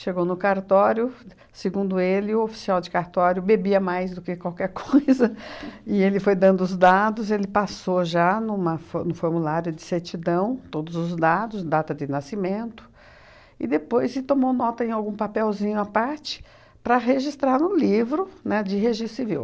no cartório, segundo ele, o oficial de cartório bebia mais do que qualquer coisa, e ele foi dando os dados, ele passou já numa fo no formulário de certidão todos os dados, data de nascimento, e depois se tomou nota em algum papelzinho à parte para registrar no livro, né, de registro civil.